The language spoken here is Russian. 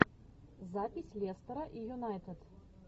запись лестера и юнайтед